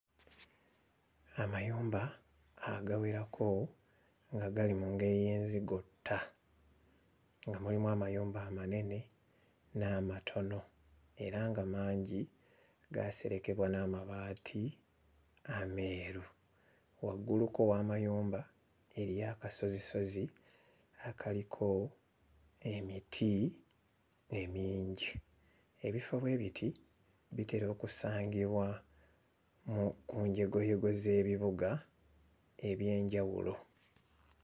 Amayumba agawerako nga gali mu ngeri y'enzigotta nga mulimu amayumba amanene n'amatono era nga mangi gaaserekebwa n'amabaati ameeru, wagguluko w'amayumba eriyo akasozisozi akaliko emiti emingi. Ebifo bwe biti bitera okusangibwa mu ku njegoyego z'ebibuga eby'enjawulo.